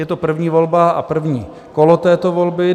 Je to první volba a první kolo této volby.